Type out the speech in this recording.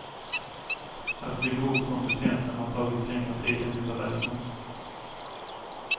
Att bygga upp kompetensen har tagit längre tid än vi beräknat.